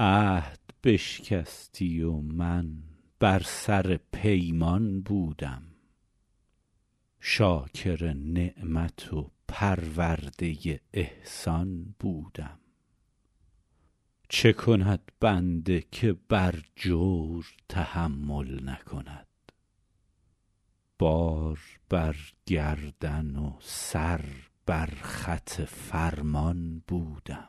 عهد بشکستی و من بر سر پیمان بودم شاکر نعمت و پرورده احسان بودم چه کند بنده که بر جور تحمل نکند بار بر گردن و سر بر خط فرمان بودم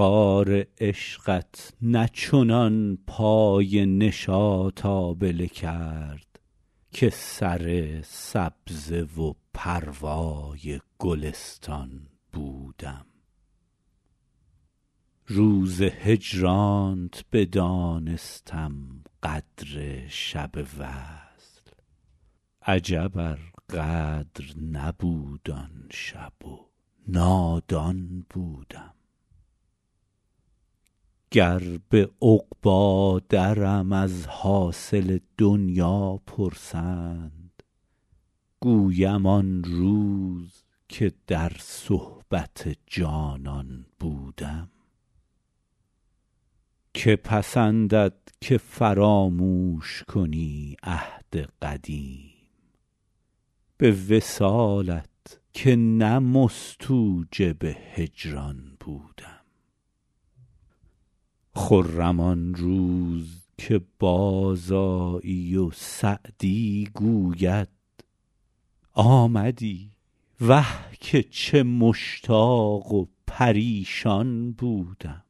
خار عشقت نه چنان پای نشاط آبله کرد که سر سبزه و پروای گلستان بودم روز هجرانت بدانستم قدر شب وصل عجب ار قدر نبود آن شب و نادان بودم گر به عقبی درم از حاصل دنیا پرسند گویم آن روز که در صحبت جانان بودم که پسندد که فراموش کنی عهد قدیم به وصالت که نه مستوجب هجران بودم خرم آن روز که بازآیی و سعدی گوید آمدی وه که چه مشتاق و پریشان بودم